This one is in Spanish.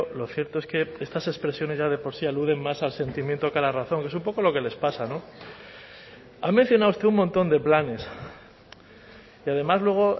lo cierto es que estas expresiones ya de por sí aluden más al sentimiento que a la razón que es un poco lo que les pasa no ha mencionado usted un montón de planes y además luego